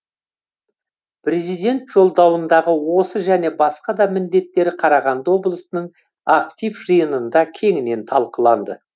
президент жолдауындағы осы және басқа да міндеттер қарағанды облысының актив жиынында кеңінен талқыланды